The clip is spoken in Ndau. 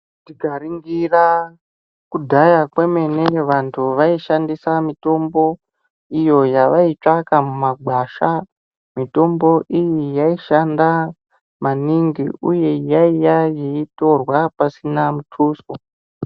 Tikaringira kudhaya kwemene vantu vaishandisa mitombo iyo yavaitsvaka mumagwasha. Mitombo iyi yaishanda maningi uye yaiya yeitorwa pasina mutuso.